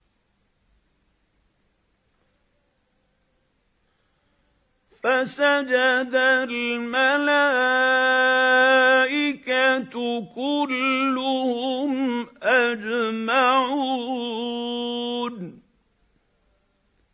فَسَجَدَ الْمَلَائِكَةُ كُلُّهُمْ أَجْمَعُونَ